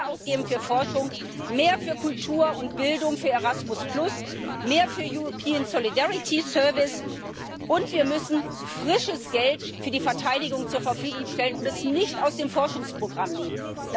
Wir müssen mehr ausgeben für Forschung, mehr für Kultur und Bildung, für Erasmus mehr für den European Solidarity Service und wir müssen frisches Geld für die Verteidigung zur Verfügung stellen und es nicht aus dem Forschungsprogramm nehmen.